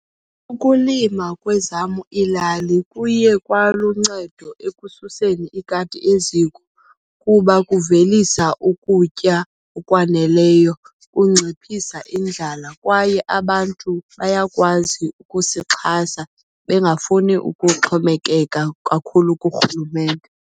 Ukulima kwezam iilali kuye kwaluncedo ekususeni ikati eziko kuba kuvelisa ukutya okwaneleyo, kunciphisa indlala. Kwaye abantu bayakwazi ukusixhasa bengafuni ukuxhomekeka kakhulu kuRhulumente.